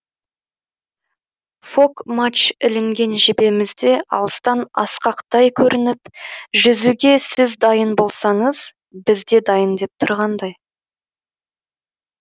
фок мачт ілінген жебеміз де алыстан асқақтай көрініп жүзуге сіз дайын болсаңыз біз де дайын деп тұрғандай